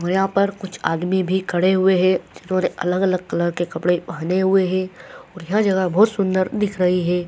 यहां पर कुछ आर्मी भी खड़े हुए हैं। अलग-अलग कलर के कपड़े पहने हुए है। सुंदर दिख रहे हैं।